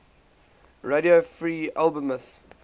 radio free albemuth